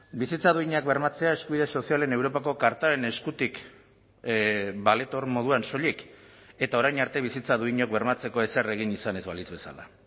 bizitza duinak bermatzea eskubide sozialen europako kartaren eskutik baletor moduan soilik eta orain arte bizitza duinak bermatzeko ezer egin izan ez balitz bezala